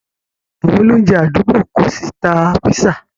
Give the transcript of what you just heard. Àwọn olóunjẹ̀ adúgbò kò ṣí tà pízzà.